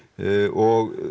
og